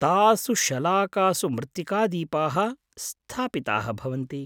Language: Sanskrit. तासु शलाकासु मृत्तिकादीपाः स्थापिताः भवन्ति।